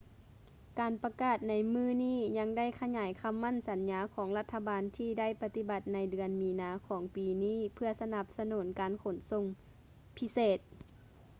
ການປະກາດໃນມື້ນີ້ຍັງໄດ້ຂະຫຍາຍຄໍາໝັ້ນສັນຍາຂອງລັດຖະບານທີ່ໄດ້ປະຕິບັດໃນເດືອນມີນາຂອງປີນີ້ເພື່ອສະໜັບສະໜູນການຂົນສົ່ງພິເສດ